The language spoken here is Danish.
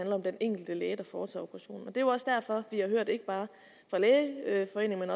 om den enkelte læge der foretager operationen det er jo også derfor vi har hørt ikke bare fra lægeforeningen